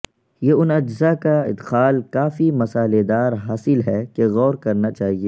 یہ ان اجزاء کا ادخال کافی مسالیدار حاصل ہے کہ غور کرنا چاہیے